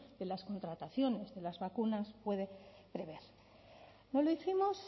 de las contrataciones de las vacunas puede prever no lo hicimos